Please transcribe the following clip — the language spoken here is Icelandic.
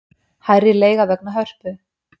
Hærri leiga vegna Hörpu